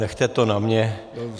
Nechejte to na mě.